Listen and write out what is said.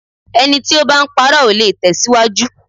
Ẹni tí o bá ń parọ́, ò le tẹ̀síwájú.